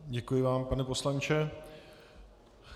Děkuji vám, pane poslanče.